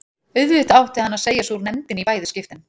Auðvitað átti hann að segja sig úr nefndinni í bæði skiptin.